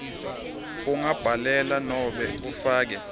ungabhalela nobe ufake